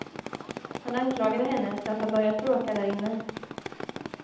Han anklagade henne för att ha börjat bråka där inne.